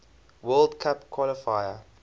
world cup qualifier